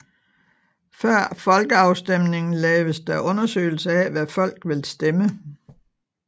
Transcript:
Før folkeafstemningen laves der undersøgelser af hvad folk vil stemme